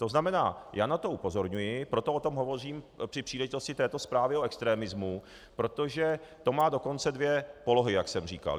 To znamená, já na to upozorňuji, proto o tom hovořím při příležitosti této zprávy o extremismu, protože to má dokonce dvě polohy, jak jsem říkal.